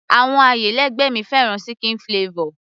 àwọn ayálégbé mi fẹ́ràn chicken flavor